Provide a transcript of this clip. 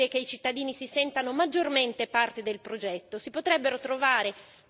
Allora, perché non consentire che i cittadini si sentano maggiormente parte del progetto?